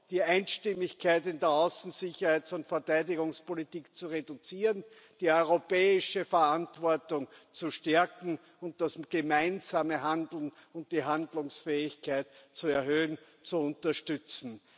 die Einstimmigkeit in der Außen Sicherheits und Verteidigungspolitik zu reduzieren, die europäische Verantwortung zu stärken und das gemeinsame Handlen und die Handlungsfähigkeit zu erhöhen, unterstützen.